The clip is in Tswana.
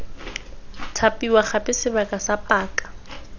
thapiwa gape sebaka sa paka